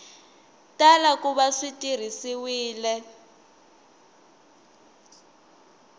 tala ku va swi tirhisiwile